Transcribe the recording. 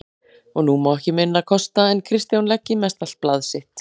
Og nú má ekki minna kosta en Kristján leggi mestallt blað sitt